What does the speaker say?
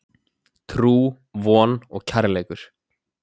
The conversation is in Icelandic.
Trú, von og kærleikur.